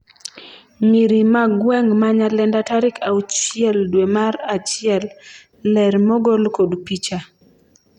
nyiri ma gweng' ma Nyalenda tarik auchiel dwe mar achiel ,ler mogol kod picha